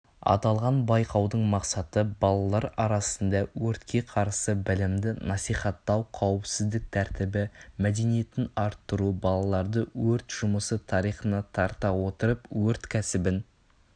аталған байқаудың мақсаты балалар арасында өртке қарсы білімді насихаттау қауіпсіздік тәртібі мәдениетін арттыру балаларды өрт жұмысы тарихына тарта отырып өрт кәсібін